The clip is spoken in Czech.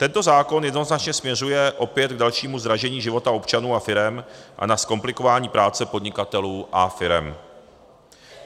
Tento zákon jednoznačně směřuje opět k dalšímu zdražení života občanů a firem a ke zkomplikování práce podnikatelů a firem.